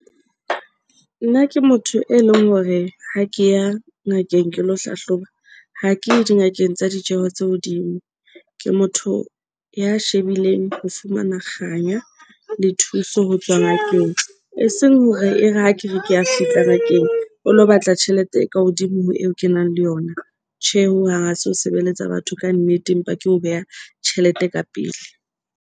Nna ke motho e leng hore ha ke ya ngakeng ke lo hlahloba. Ha ke ye di ngakeng tsa ditjeho tse hodimo ke motho ya shebileng ho fumana kganya le thuso. Ho tswa ngakeng e seng hore e re ha kere ke a fihla ngakeng, o lo batla tjhelete e ka hodimo ho eo ke nang le yona. Tjhe, hohang ha se ho sebeletsa batho kannete empa ke ho beha tjhelete ka pele.